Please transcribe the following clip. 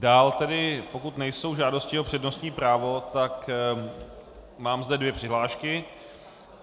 Dál tedy, pokud nejsou žádosti o přednostní právo, tak mám zde dvě přihlášky.